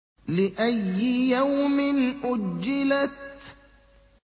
لِأَيِّ يَوْمٍ أُجِّلَتْ